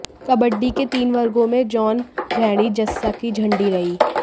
कबड्डी के तीन वर्गों में जोन भैणी जस्सा की झंडी रही